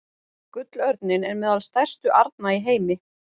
Gullörninn er meðal stærstu arna í heimi.